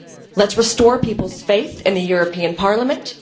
Let us restore people's faith in the European Parliament.